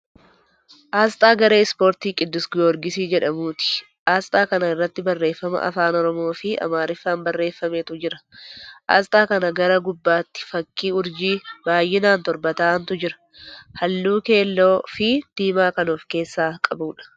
Aasxaa garee ispoortii Qiddus Giyoorgisii jedhamuuti. Aasxaa kana irratti barreeffama afaan Oromoo fi Amaariffaan barreeffametu jira. Aasxaa kana gara gubbaattii fakkii urjii, baay'inaan torba ta'antu jira. Haalluu keelloo fii diimaa kan of keessaa qabuudha.